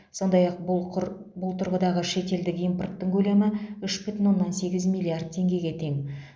сондай ақ бұл құр бұл тұрғыдағы шетелдік импорттың көлемі үш бүтін оннан сегіз миллиард теңгеге тең